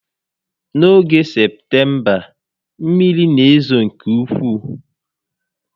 N'oge Septemba, mmiri n'ezo nke ukwuu